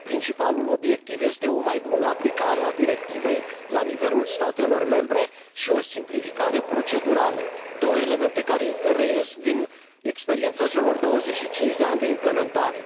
principalul obiectiv este o mai bună aplicare a directivei la nivelul statelor membre și o simplificare procedurală, două elemente care reies din experiența celor 25 de ani de implementare.